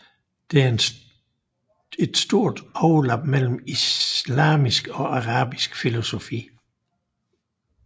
Der er et stort overlap mellem islamisk og arabisk filosofi